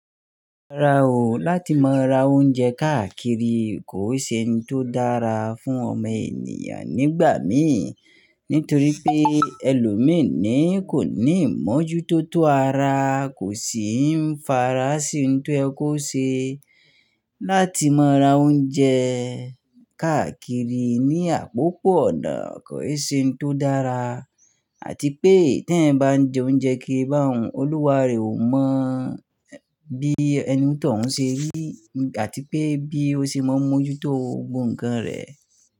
Rárá o, láti má ra oúnjẹ káàkiri kò ṣe ohun tó dára fún ọmọ ènìyàn nígbà míì, nítorí pé ẹlòmíràn kò ní ìmọ́jútó tó ara, kò sì ń farasin ohun tó ye kó ṣe. Láti má ra oúnjẹ káàkiri ní àpòpọ̀ ọ̀nà kò ṣe ohun tó dára àti pé tí ẹ̀yan ń bá jẹ oúnjẹ kiri bá òun, Olúwa rẹ̀ ò mọ̀ bí ẹni tí ọ̀ ń ṣe rí àti pé bí ó ṣe máa ń mójútó gbòǹkan rẹ̀